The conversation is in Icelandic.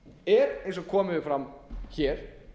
er eins og komið hefur fram hér